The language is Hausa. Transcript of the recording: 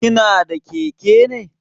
Kana da keke ne?